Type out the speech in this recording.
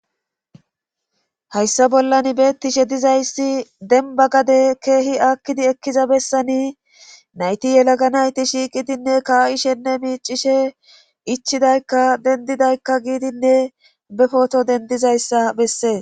Hayssa bollanbeettishe dizayssi denba gade keehi aakkidi ekkiza bessani nayti yelaga nayti shiiqidinne kaa7ishenne miicishe ichidaykka dendidaykka giidinne be poto dendizayssa bessee.